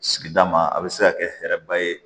Sigida ma a bɛ se ka kɛ hɛrɛba ye